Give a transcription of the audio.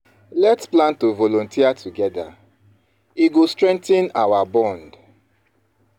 Let’s plan to volunteer together; e go strengthen our bond.